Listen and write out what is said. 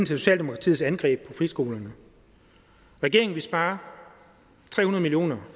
socialdemokratiets angreb på friskolerne regeringen vil spare tre hundrede million